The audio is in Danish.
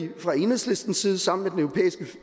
vi fra enhedslistens side sammen